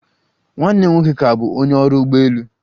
Nwanne m nwoke ka bụ onye ọrụ ụgbọelu